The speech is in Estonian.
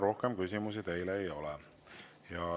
Rohkem küsimusi teile ei ole.